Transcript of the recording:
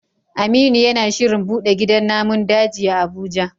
Aminu yana shirin bude gidan namun daji a Abuja